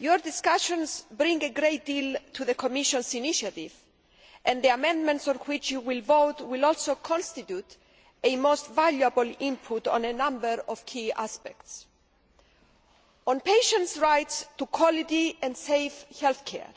Its discussions add a great deal to the Commission's initiative, and the amendments on which it is to vote will also constitute a most valuable input on a number of key aspects. On patients' rights to quality and safe health care,